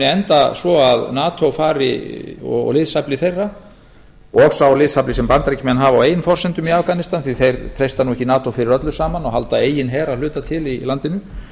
enda svo að nato fari og liðsafli þeirra og sá liðsafli sem bandaríkjamenn hafa á eigin forsendum í afganistan því að þeir treysta nú ekki nato fyrir öllu saman og halda eigin her að hluta til í landinu